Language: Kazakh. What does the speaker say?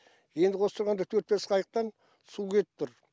енді осы тұрғанда төрт бес қайықтан су кетіп тұр